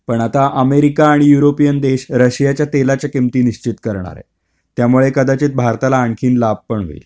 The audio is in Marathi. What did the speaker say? पण आता अमेरिका आणि युरोपियन देश रशियाच्या तेलाच्या किमती निश्चित करणार आहेत. त्यामुळे कदाचित भारताला आणखीन लाभ पण होईल.